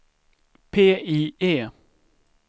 PIE